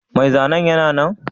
Mai zanen yana nan?